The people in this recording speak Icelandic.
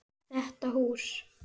Þetta hús?